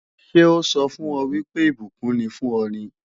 Ṣé ó sọ fún ọ wípé ìbùkún ni fún ọ ni?